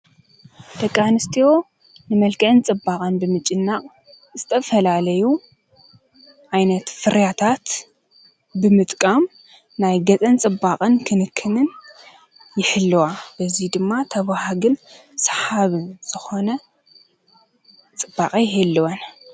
ደቂ-ኣንስትዮ ንመልክዕን ፅባቀን ብምጭናቅ ዝተፈላለዩ ዓይነት ፍርያታት ብምጥቃም ናይ ገፀን ፅባቀን ክንክን ይሕልዋ። እዚ ድማ ተባሃግን ሰሓብን ዝኮነ ፅባቀ ይህልወን።